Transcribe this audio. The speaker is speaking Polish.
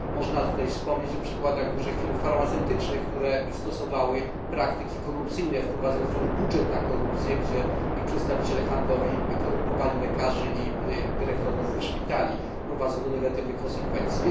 Można tutaj wspomnieć o przykładach dużych firm farmaceutycznych, które stosowały praktyki korupcyjne, wprowadzając wręcz budżet na korupcję, a ich przedstawiciele handlowi korumpowali lekarzy i dyrektorów szpitali, co prowadziło do negatywnych konsekwencji.